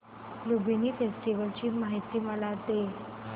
Lumbini festival ची मला माहिती दे